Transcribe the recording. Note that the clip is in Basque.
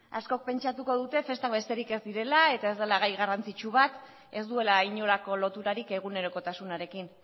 askok pentsatuko dute festa besterik ez direla eta ez dela gai garrantzitsu bat ez duela inolako loturarik egunerokotasunarekin